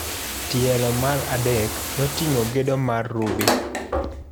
Tielo mar adek noting'o gedo mar Ruby.